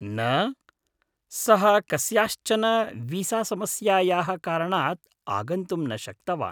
न, सः कस्याश्चन वीसासमस्यायाः कारणात् आगन्तुं न शक्तवान्।